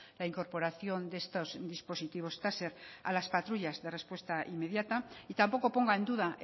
la incorporación de estos dispositivos taser a las patrullas de respuesta inmediata y tampoco ponga en duda